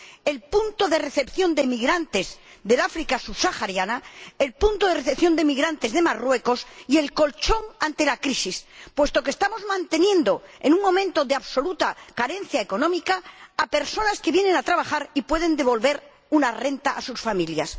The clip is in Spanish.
el punto de recepción de emigrantes del África subsahariana, el punto de recepción de emigrantes de Marruecos y el colchón ante la crisis, puesto que estamos manteniendo, en un momento de absoluta carencia económica, a personas que vienen a trabajar y pueden devolver una renta a sus familias.